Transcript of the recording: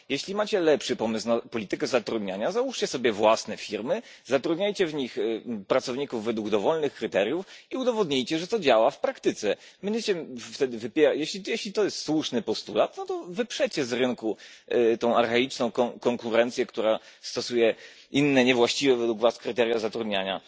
Jeśli macie lepszy pomysł na politykę zatrudniania, załóżcie sobie własne firmy, zatrudniajcie w nich pracowników według dowolnych kryteriów i udowodnijcie, że to działa w praktyce. Jeśli to jest słuszny postulat, to wyprzecie z rynku tę archaiczną konkurencję, która stosuje inne, niewłaściwe według Was kryteria zatrudniania.